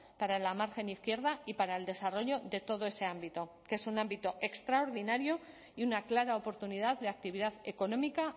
para la margen izquierda y para el desarrollo de todo ese ámbito que es un ámbito extraordinario y una clara oportunidad de actividad económica